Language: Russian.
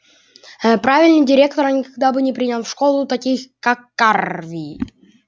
э правильный директор никогда бы не принял в школу таких как карви